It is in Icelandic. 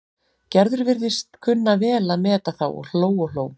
Gerður virtist kunna vel að meta þá og hló og hló.